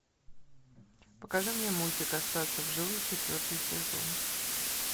покажи мне мультик остаться в живых четвертый сезон